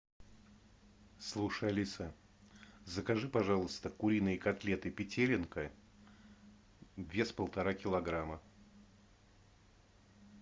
слушай алиса закажи пожалуйста куриные котлеты петелинка вес полтора килограмма